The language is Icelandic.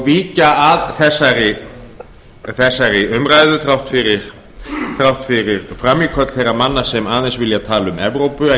víkja að þessari umræðu þrátt fyrir frammíköll þeirra manna sem aðeins vilja tala um evrópu en